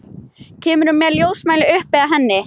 Kemur með ljósmæli upp að henni.